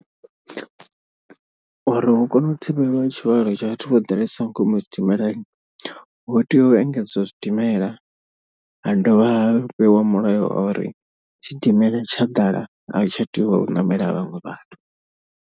Uri hu kone u thivhelwa tshivhalo tsha vhathu vho ḓalesaho nga ngomu zwidimelani. Hu tea u engedziwa zwidimela ha dovha ha fhiwa mulayo wa uri tshidimela tsha ḓala ahu tsha tea u ṋamela vhaṅwe vhathu.